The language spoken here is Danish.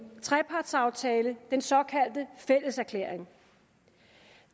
trepartsaftale den såkaldte fælleserklæring